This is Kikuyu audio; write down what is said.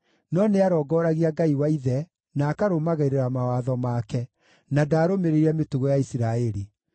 no nĩarongooragia Ngai wa ithe na akarũmagĩrĩra mawatho make, na ndaarũmĩrĩire mĩtugo ya Isiraeli.